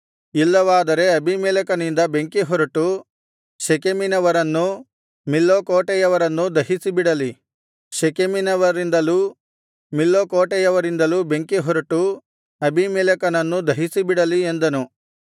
ಇಲ್ಲವಾದರೆ ಅಬೀಮೆಲೆಕನಿಂದ ಬೆಂಕಿಹೊರಟು ಶೆಕೆಮಿನವರನ್ನೂ ಮಿಲ್ಲೋ ಕೋಟೆಯವರನ್ನೂ ದಹಿಸಿಬಿಡಲಿ ಶೆಕೆಮಿನವರಿಂದಲೂ ಮಿಲ್ಲೋ ಕೋಟೆಯವರಿಂದಲೂ ಬೆಂಕಿಹೊರಟು ಅಬೀಮೆಲೆಕನನ್ನು ದಹಿಸಿಬಿಡಲಿ ಎಂದನು